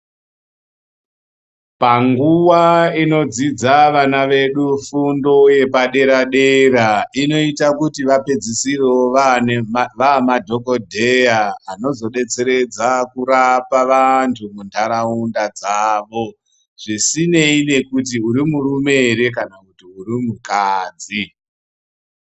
Panguwa inodzidza vana vedu fundo yepadera dera inoita kuti vapedzisisire vaamadhogodheya anozodetseredza kurapa vantu muntaraunda dzavo, zvisineyi nekuti urimurume here kana kuti urimukadzi.